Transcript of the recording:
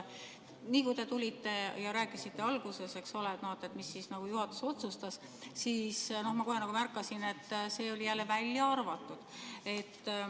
Kui te tulite ja rääkisite alguses, mida juhatus otsustas, siis ma kohe märkasin, et see oli jälle välja arvatud.